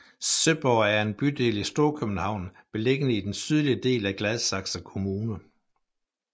Søborg er en bydel i Storkøbenhavn beliggende i den sydlige del af Gladsaxe kommune